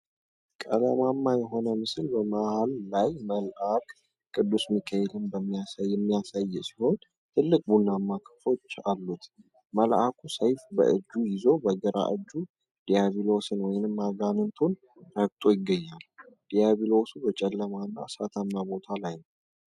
ቀለማማ የሆነ ምስል በመሃል ላይ መልአክ ቅዱስ ሚካኤልን የሚያሳይ ሲሆን፣ ትልቅ ቡናማ ክንፎች አሉት። መልአኩ ሰይፍ በእጁ ይዞ በግራ እግሩ ዲያብሎስን ወይም አጋንንቱን ረግጦ ይገኛል። ዲያብሎሱ በጨለማና እሳታማ ቦታ ላይ ነው።